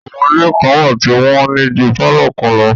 Àwọn ilé kan wà tí wọ́n ní ju pálọ̀ kan lọ